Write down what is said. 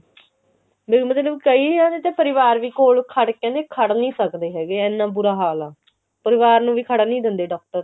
ਵੀ ਮਤਲਬ ਕਈਆਂ ਦੇ ਪਰਿਵਾਰ ਵੀ ਕੋਲ ਖੜ ਕੇ ਕਿਹੰਦੇ ਖੜ ਨਹੀ ਸਕਦੇ ਹੈਗੇ ਵੀ ਇੰਨਾ ਬੁਰਾ ਹਾਲ ਆ ਪਰਿਵਾਰ ਨੂੰ ਵੀ ਖੜਨ ਨੀ ਦਿੰਦੇ doctor